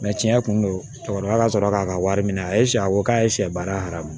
tiɲɛ kun do cɛkɔrɔba ka sɔrɔ k'a ka wari minɛ a ye siyɛ a ko k'a ye sɛ baara ma